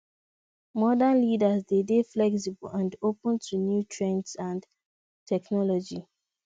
modern leaders de dey flexible and open to new trends and technology